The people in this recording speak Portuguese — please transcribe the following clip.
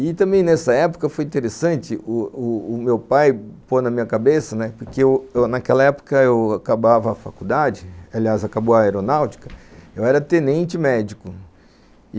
E também nessa época foi interessante o o o meu pai pôr na minha cabeça, porque naquela época eu acabava a faculdade, aliás acabou a aeronáutica, eu era tenente médico.